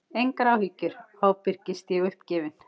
Engar áhyggjur, ábyrgist ég uppgefin.